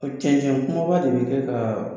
Cɛncɛn kumaba de bi kɛ ka